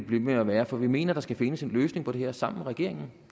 ved med at være for vi mener der skal findes en løsning på det her sammen med regeringen